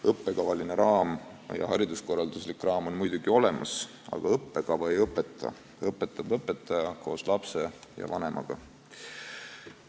Õppekavaline raam ja hariduskorralduslik raam on muidugi olemas, aga õppekava ei õpeta, õpetab õpetaja koos lapsevanemaga.